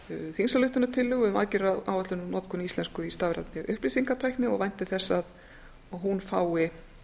þingsályktunartillögu um aðgerðaáætlun um notkun íslensku í stafrænni upplýsingatækni og vænti þess að hún fái